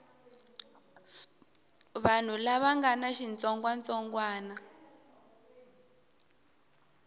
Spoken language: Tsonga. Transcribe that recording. vanhu lava nga na xitsongwatsongwana